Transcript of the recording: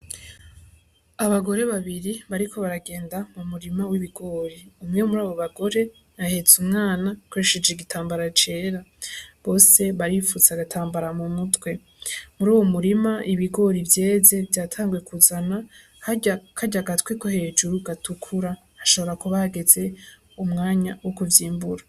Abagore babiri bariko baragenda mumurima w'ibigori umwe murabo bagore ahetse umwana akoresheje igitambara cera, Bose baripfutse agatambara mu mutwe, Muriwo murima ibigori vyeze vyatanguye kuzana karya katwe KO hejuru gatukura hashobora kuba hageze umwanya wo kuvyimbura.